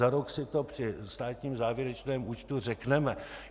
Za rok si to při státním závěrečném účtu řekneme.